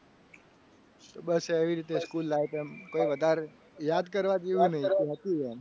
તો બસ એવી રીતે school life એમ કહી વધારે યાદ કરવા જેવું કંઈ હતું નહીં. એમ